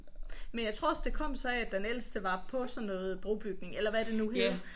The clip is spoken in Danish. Men jeg tror også det kom sig af at den ældste var på sådan noget brobygning eller hvad det nu hed